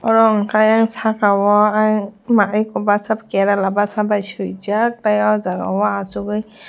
oro hwnkhe ayang saka o ayang twma eko kerela basha bai suijak tei o jaga o achukgui.